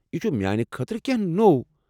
یہِ چھُ میانہِ خٲطرٕ کینٛہہ نوٚو۔